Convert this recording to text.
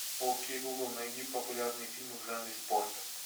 окей гугл найди популярные фильмы в жанре спорт